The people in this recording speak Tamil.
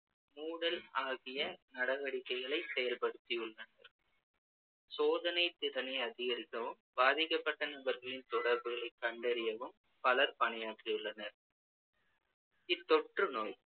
மூடல் ஆகிய நடவடிக்கைகளைச் செயல்படுத்தியுள்ளனர் சோதனை திறனை அதிகரிக்கவும் பாதிக்கப்பட்ட நபர்களின் தொடர்புகளை கண்டறியவும் பலர் பணியாற்றியுள்ளனர் இத்தொற்றுநோய்